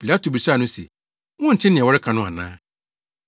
Pilato bisaa no se, “Wonte nea wɔreka no ana?”